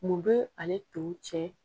Mun bɛ ale to cɛ.